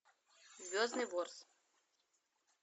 звездный ворс